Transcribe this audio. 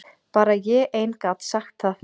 Bara ég ein gat sagt það.